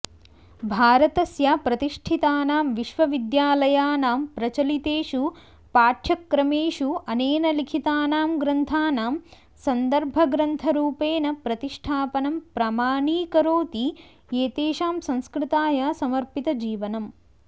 भारतस्य प्रतिष्ठितानां विश्वविद्यालयानां प्रचलितेषु पाठ्यक्रमेषु अनेन लिखितानां ग्रन्थानां सन्दर्भग्रन्थरूपेण प्रतिष्ठापनं प्रमाणीकरोति एतेषां संस्कृताय समर्पितजीवनम्